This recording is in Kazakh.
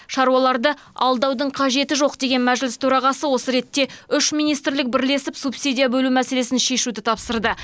шаруаларды алдаудың қажеті жоқ деген мәжіліс төрағасы осы ретте үш министрлік бірлесіп субсидия бөлу мәселесін шешуді тапсырды